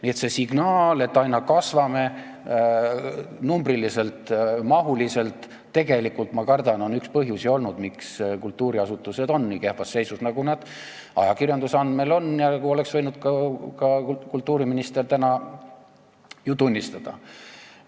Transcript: Nii et see signaal, et aina kasvame numbriliselt ja mahuliselt, tegelikult, ma kardan, on olnud üks põhjusi, miks kultuuriasutused on nii kehvas seisus, nagu nad ajakirjanduse andmeil on, ja seda oleks võinud ka kultuuriminister täna tunnistada.